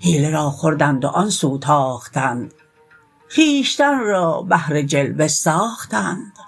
حیله را خوردند و آن سو تاختند خویشتن را بهر جلوه ساختند